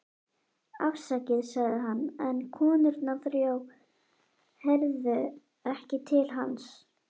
Afsakið, sagði hann, en konurnar þrjár heyrðu ekki til hans.